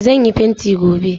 Zan yi fenti gobe.